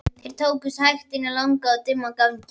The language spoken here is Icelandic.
Þeir þokuðust hægt inn langan og dimman ganginn.